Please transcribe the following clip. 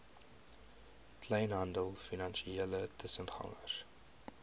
kleinhandel finansiële tussengangers